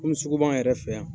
Komi sugu b'an yɛrɛ fɛ yan